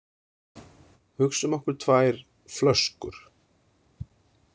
"Hugsum okkur tvær ""flöskur."